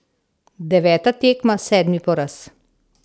Deveta tekma, sedmi poraz.